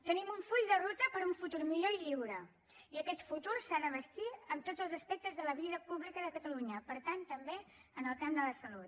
tenim un full de ruta per un futur millor i lliure i aquest futur s’ha de bastir amb tots els aspectes de la vida pública de catalunya per tant també en el camp de la salut